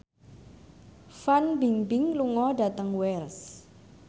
Fan Bingbing lunga dhateng Wells